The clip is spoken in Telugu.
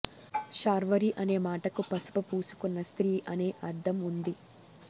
శార్వరి అనే మాటకు పసుపు పూసుకున్న స్త్రీ అనే అర్థం ఉంది